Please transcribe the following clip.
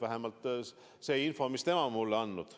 Vähemalt selline on info, mis tema mulle on andnud.